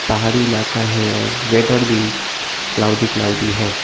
पहाड़ी इलाका है और वेदर भी क्लॉडी क्लॉडी है।